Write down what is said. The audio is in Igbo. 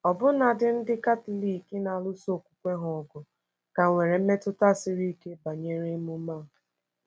Ọbụna ndị Katọlik na-alụso okwukwe ha ọgụ ka nwere mmetụta siri ike banyere emume a.